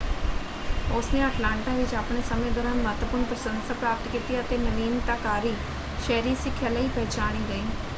ਉਸਨੇ ਅਟਲਾਂਟਾ ਵਿੱਚ ਆਪਣੇ ਸਮੇਂ ਦੌਰਾਨ ਮਹੱਤਵਪੂਰਨ ਪ੍ਰਸ਼ੰਸਾ ਪ੍ਰਾਪਤ ਕੀਤੀ ਅਤੇ ਨਵੀਨਤਾਕਾਰੀ ਸ਼ਹਿਰੀ ਸਿੱਖਿਆ ਲਈ ਪਹਿਚਾਣੀ ਗਈ।